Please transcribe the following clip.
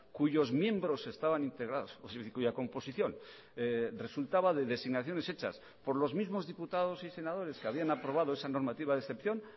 cuyos miembros estaban integrados cuya composición resultaba de designaciones hechas por los mismos diputados y senadores que habían aprobado esa normativa de excepción